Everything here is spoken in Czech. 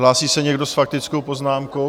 Hlásí se někdo s faktickou poznámkou?